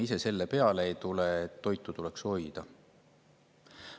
Miks me ise selle peale ei tule, et toitu tuleb hoida?